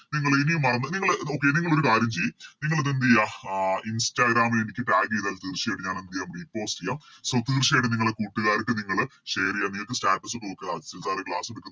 നിങ്ങളിനിയും മറന്ന് നിങ്ങള് Okay നിങ്ങള് ഒരു കാര്യം ചെയ് നിങ്ങളിത് എന്തേയ്യ അഹ് Instagram ഇ എനിക്ക് Tag ചെയ്താൽ തീർച്ചയായിട്ടും ഞാനെന്തെയ്യം Repost ചെയ്യാം So തീർച്ചയായിട്ടും നിങ്ങള് കൂട്ട്കാർക്ക് നിങ്ങള് Share ചെയ്യാ നിങ്ങക്ക് Status തൂക്ക മിക്കവാറും Class എടുക്കും